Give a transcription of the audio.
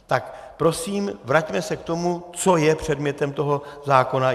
Tak prosím, vraťme se k tomu, co je předmětem toho zákona.